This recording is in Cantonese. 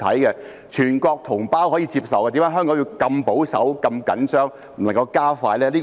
既然全國同胞可以接受，為甚麼香港要如此保守和緊張，不能加快呢？